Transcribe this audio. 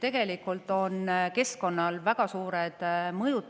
Tegelikult on keskkonnal väga suur mõju,